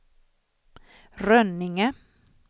Rönninge